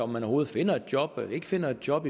man overhovedet finder et job eller ikke finder et job